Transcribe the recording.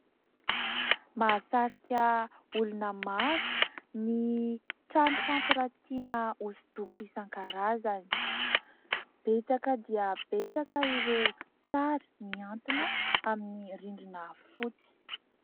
Mahasatrika olona maro ny trano fampiratiana hosodoko isan-karazany. Betsaka dia betsaka ireo sary miantona amin'ny rindrina fotsy.